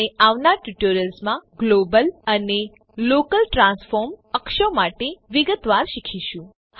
આપણે આવનાર ટ્યુટોરિયલ્સ માં ગ્લોબલ અને લોકલ ટ્રાન્સફોર્મ અક્ષો માટે વિગતવાર શીખીશું